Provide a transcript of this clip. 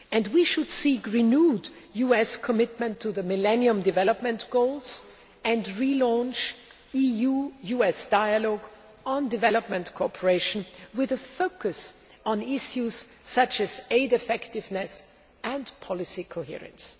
We should seek renewed US commitment to the Millennium Development Goals and relaunch EU US dialogue on development cooperation, with a focus on issues such as aid effectiveness and policy coherence.